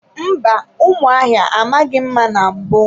Mba, ụmụ ahịa amaghị mma na mbụ.